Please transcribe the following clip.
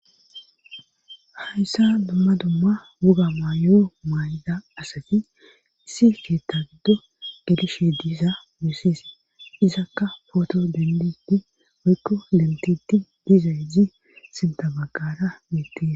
hayssa dumma dumma wuga maayo may7da asati issi keetta giddo gelishe diiza messis izakka poto dendidi maykko dentiti diiza iji sintabaqara miitti